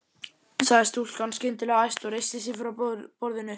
sagði stúlkan skyndilega æst og reisti sig frá borðinu.